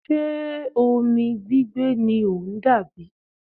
Ṣe omi gbigbe ni o n dà bi?